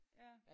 Ja